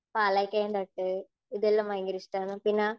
പാലക്കയം തട്ട് ഇതെല്ലാം ഭയങ്കര ഇഷ്ടമാണ്, പിന്നെ